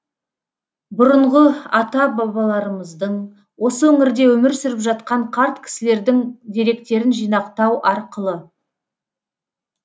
бұрынғы ата бабаларымыздың осы өңірде өмір сүріп жатқан қарт кісілердің деректерін жинақтау арқылы